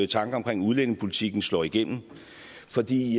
tanker omkring udlændingepolitikken slår igennem fordi